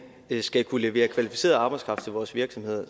skal kunne levere kvalificeret arbejdskraft til vores virksomheder er